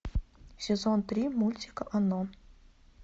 сезон три мультик оно